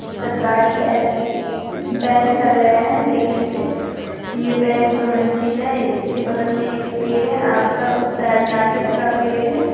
सरकारी अफ कुछ बैंक लग रहे हैं देखने से | ये बैंक दो मंजिले हैं इसके बगल में एक पेड़ है आम का उस साइड नारियल का पेड़ है।